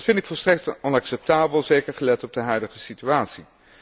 Dat vind ik volstrekt onacceptabel, zeker gelet op de huidige situatie.